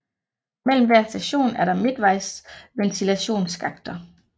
Mellem hver station er der midtvejsventilationsskakter